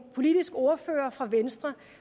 politisk ordfører for venstre